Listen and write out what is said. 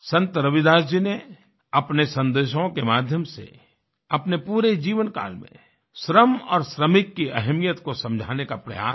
संत रविदास जी ने अपने संदेशों के माध्यम से अपने पूरे जीवनकाल में श्रम और श्रमिक की अहमियत को समझाने का प्रयास किया